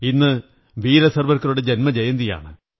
ഇന്ന് വീര സാവര്ക്കനറുടെ ജന്മജയന്തിയാണ്